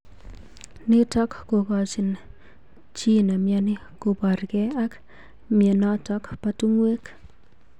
Nitok kokochin chi nemnyani kobarkei ak mnyenotok bo tungwek.